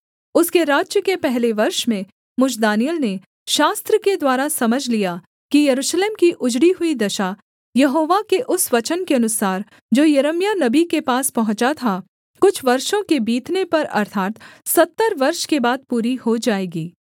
उसके राज्य के पहले वर्ष में मुझ दानिय्येल ने शास्त्र के द्वारा समझ लिया कि यरूशलेम की उजड़ी हुई दशा यहोवा के उस वचन के अनुसार जो यिर्मयाह नबी के पास पहुँचा था कुछ वर्षों के बीतने पर अर्थात् सत्तर वर्ष के बाद पूरी हो जाएगी